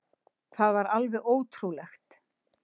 Það var alveg ótrúlegt.